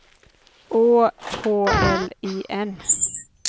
Å H L I N